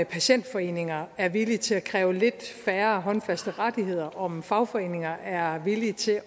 patientforeninger er villige til at kræve lidt færre håndfaste rettigheder og om fagforeninger er villige til at